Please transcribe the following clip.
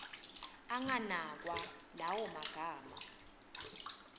anganakwa lawo magama